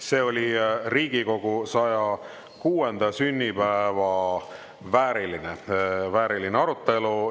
See oli Riigikogu 106. sünnipäeva vääriline arutelu.